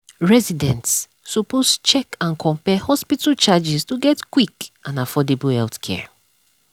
residents suppose check and compare hospital charges to get quick and affordable healthcare.